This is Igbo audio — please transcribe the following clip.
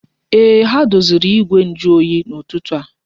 Ee, ha doziri igwe njuoyi n'ụtụtụ a